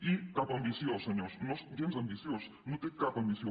i cap ambició senyors no és gens ambiciós no té cap ambició